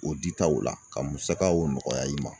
O ditaw la, ka musakaw nɔgɔya i ma .